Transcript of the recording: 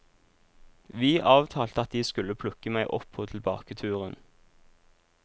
Vi avtalte at de skulle plukke meg opp på tilbaketuren.